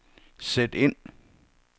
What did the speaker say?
sæt ind